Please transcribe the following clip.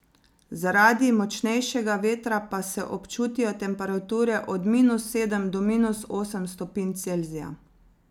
Zaradi močnejšega vetra pa se občutijo temperature od minus sedem do minus osem stopinj Celzija.